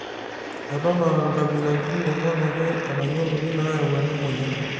eton aa inkabilaritin ong'uan ake etayioloki nayaau ena moyian